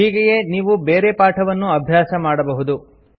ಹೀಗೆಯೇ ನೀವು ಬೇರೆ ಪಾಠವನ್ನೂ ಅಭ್ಯಾಸ ಮಾಡಬಹುದು